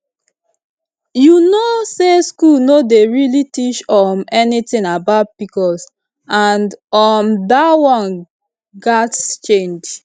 you know say school no dey really teach um anything about pcos and um that one gats change